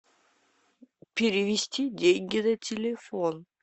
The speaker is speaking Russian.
перевести деньги на телефон